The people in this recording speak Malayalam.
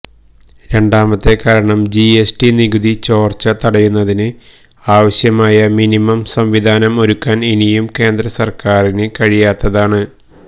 രണ്ടാമത്തെ കാരണം ജി എസ് ടി നികുതി ചോര്ച്ച തടയുന്നതിന് ആവശ്യമായ മിനിമം സംവിധാനം ഒരുക്കാന് ഇനിയും കേന്ദ്രസര്ക്കാരിന് കഴിയായാത്തതാണ്